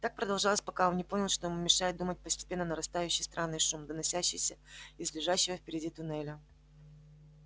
так продолжалось пока он не понял что ему мешает думать постепенно нарастающий странный шум доносящийся из лежащего впереди туннеля